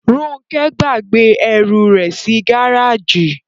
Róńkẹ́ gbàgbé ẹrù rẹ̀ sí gáràjì.